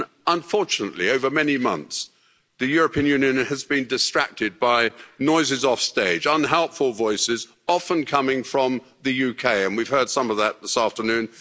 Unfortunately, over many months, the European Union has been distracted by noises offstage, unhelpful voices, often coming from the UK, and we've heard some of that this afternoon.